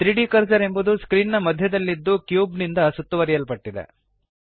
3ದ್ ಕರ್ಸರ್ ಎಂಬುದು ಸ್ಕ್ರೀನ್ ನ ಮಧ್ಯದಲ್ಲಿದ್ದು ಕ್ಯೂಬ್ ನಿಂದ ಸುತ್ತುವರಿಯಲ್ಪಟ್ಟಿದೆ